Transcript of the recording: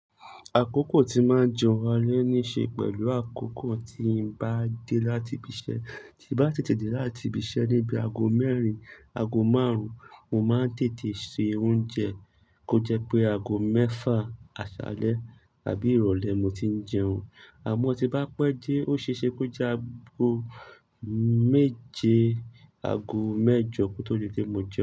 Àkókò tí màá jẹun alẹ́ ní ṣe pẹ̀lú àkókò tí n bá dé láti ibi iṣẹ́, tí bá tètè dé láti ibi iṣẹ́ níbi aago mẹ́rin, aago márùn-ún, mo máa ń tètè se oúnjẹ. Ó jẹ́ pé aago mẹ́fà, àṣalẹ́ tàbí ìrọ̀lẹ́ mo ti ń jẹun. Àmọ́ tí bá pẹ́ dé, ó ṣe é ṣe pé ó jẹ́ aago méje, aago mẹ́jọ kó tó dé pé mo jẹun.